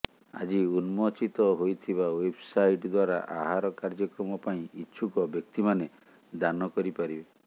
ଆଜି ଉନ୍ମୋଚିତ ହୋଇଥିବା ୱେବ୍ସାଇଟ୍ ଦ୍ବାରା ଆହାର କାର୍ଯ୍ୟକ୍ରମ ପାଇଁ ଇଚ୍ଛୁକ ବ୍ୟକ୍ତିମାନେ ଦାନ କରିପାରିବେ